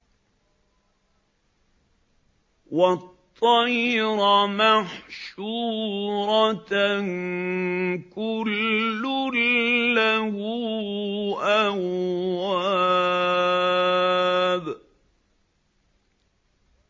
وَالطَّيْرَ مَحْشُورَةً ۖ كُلٌّ لَّهُ أَوَّابٌ